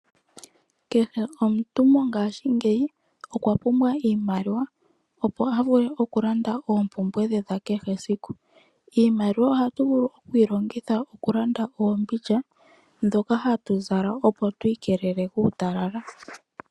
Kehe omuntu mongashingeyi okwa pumbwa iimaliwa opo a vule okulanda oompumbwe dhe dha kehe esiku. Iimaliwa ohatu vulu okuyi longitha okulanda oombindja ndhoka hatu zala, opo tu ikelele kuutalala.